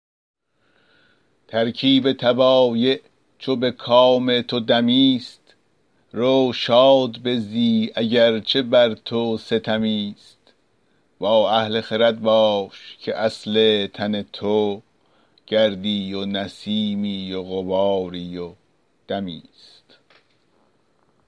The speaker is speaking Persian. ترکیب طبایع چو به کام تو دمی ست رو شاد بزی اگر چه بر تو ستمی ست با اهل خرد باش که اصل تن تو گردی و نسیمی و غباری و دمی ست